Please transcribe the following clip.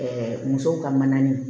musow ka manani